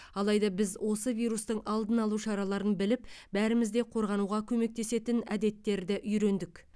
алайда біз осы вирустың алдын алу шараларын біліп бәріміз де қорғануға көмектесетін әдеттерді үйрендік